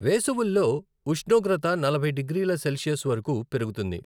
వేసవుల్లో ఉష్ణోగ్రత నలభై డిగ్రీల సెల్సియస్ వరకు పెరుగుతుంది.